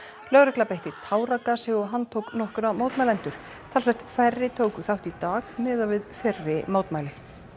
lögregla beitti táragasi og handtók nokkra mótmælendur talsvert færri tóku þátt í dag miðað við fyrri mótmæli